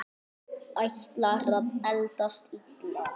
Ætlar að eldast illa.